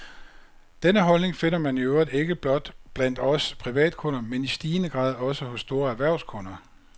Denne holdning finder man i øvrigt ikke blot blandt os privatkunder, men i stigende grad også hos store erhvervskunder.